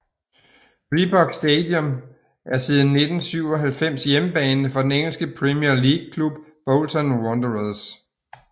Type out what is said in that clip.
Reebok Stadium er siden 1997 hjemmebane for den engelske Premier League klub Bolton Wanderers